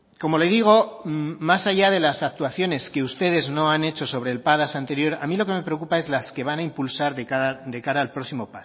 como le digo más allá de las actuaciones que ustedes no han hecho sobre el padas anterior a mí lo que me preocupa es las que van a impulsar de cara al próximo